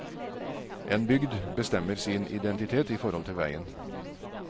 En bygd bestemmer sin identitet i forhold til veien.